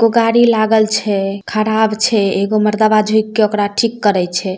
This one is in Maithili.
एगो गाड़ी लागल छै खराब छै एगो मरदावा झुक के ओकरा ठीक करय छै।